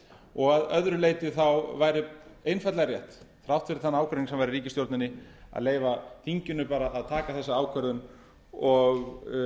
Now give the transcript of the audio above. og að öðru leyti væri einfaldlega rétt þrátt fyrir þann ágreining sem var í ríkisstjórninni að leyfa þinginu að taka þessa ákvörðun og